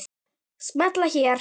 Smella hér